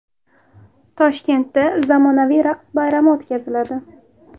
Toshkentda zamonaviy raqs bayrami o‘tkaziladi.